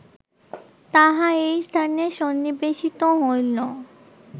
তাহা এই স্থানে সন্নিবেশিত হইল